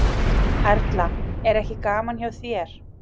Erla: Er ekki gaman hjá þér?